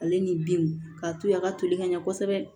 Ale ni binw k'a to a ka toli ka ɲɛ kosɛbɛ